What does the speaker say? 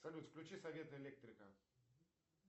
салют включи совет электрика